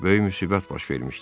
Böyük müsibət baş vermişdi.